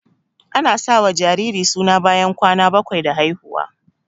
Ana sa wa jariri suna bayan kwana bakwai da haihuwa